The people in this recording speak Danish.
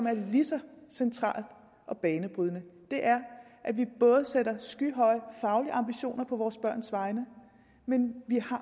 er lige så centralt og banebrydende at vi både sætter skyhøje faglige ambitioner på vores børns vegne men